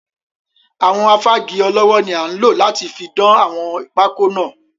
Àwọn Afági ọlọ́wọ́ ni a nlo láti fi dán àwọn pákọ́ náà.